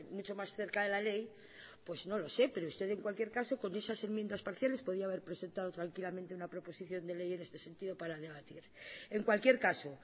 mucho más cerca de la ley pues no lo sé pero usted en cualquier caso con esas enmiendas parciales podía haber presentado tranquilamente una proposición de ley en este sentido para debatirla en cualquier caso